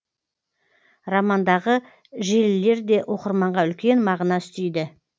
романдағы желілер де оқырманға үлкен мағына үстейді